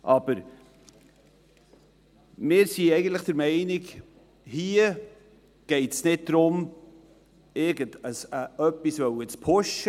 Aber wir sind der Meinung, hier gehe es nicht darum, irgendetwas zu pushen.